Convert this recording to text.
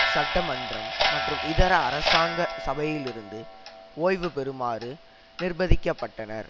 சட்டமன்றம் மற்றும் இதர அரசாங்க சபையிலிருந்து ஒய்வு பெறுமாறு நிர்பதிக்கப்பட்டனர்